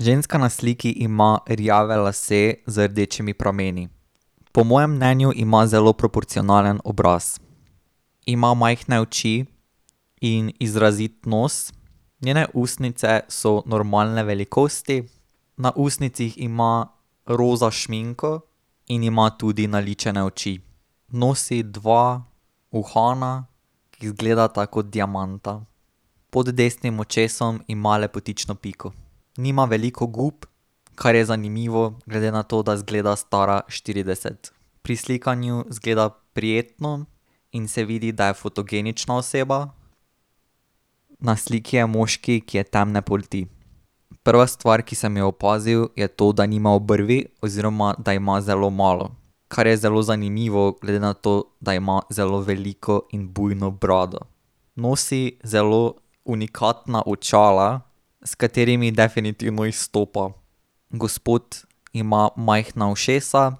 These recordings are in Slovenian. Ženska na sliki ima rjave lase z rdečimi prameni. Po mojem mnenju ima zelo proporcionalen obraz. Ima majhne oči in izrazit nos. Njene ustnice so normalne velikosti. Na ustnicah ima roza šminko in ima tudi naličene oči. Nosi dva uhana, ki izgledata kot diamanta. Pod desnim očesom ima lepotično piko. Nima veliko gub, kar je zanimivo glede na to, da izgleda stara štirideset. Pri slikanju izgleda prijetno in se vidi, da je fotogenična oseba. Na sliki je moški, ki je temne polti. Prva stvar, ki sem jo opazil, je to, da nima obrvi oziroma da ima zelo malo, kar je zelo zanimivo, glede na to, da ima zelo veliko in bujno brado. Nosi zelo unikatna očala, s katerimi definitivno izstopa. Gospod ima majhna ušesa,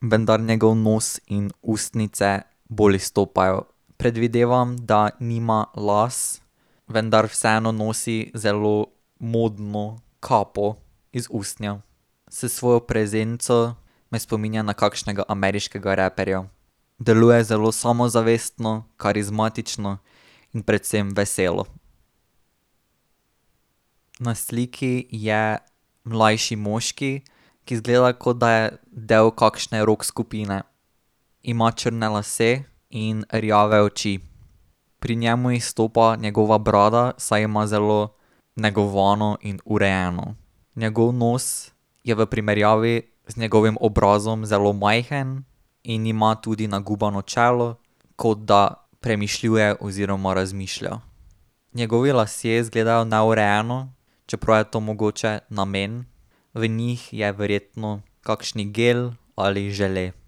vendar njegov nos in ustnice bolj izstopajo. Predvidevam, da nima las, vendar vseeno nosi zelo modno kapo iz usnja. S svojo prezenco me spominja na kakšnega ameriškega raperja. Deluje zelo samozavestno, karizmatično in predvsem veselo. Na sliki je mlajši moški, ki izgleda, kot da je del kakšne rock skupine. Ima črne lase in rjave oči. Pri njem izstopa njegova brada, saj ima zelo negovano in urejeno. Njegov nos je v primerjavi z njegovim obrazom zelo majhen in ima tudi nagubano čelo, kot da premišljuje oziroma razmišlja. Njegovi lasje izgledajo neurejeno, čeprav je to mogoče namen. V njih je verjetno kakšen gel ali žele.